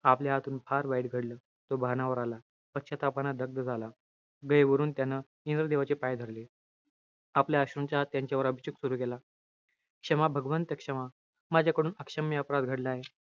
आपल्या हातून फार वाईट घडलं. तो भानावर आला. पश्चातापानं दग्ध झाला. गहिवरून त्यानं इंद्रदेवाचे पाय धरले. आपल्या अश्रूंचा त्यांच्यावर अभिषेक सुरु केला. क्षमा भगवंत, क्षमा. माझ्याकडून अक्षम्य अपराध घडलाय.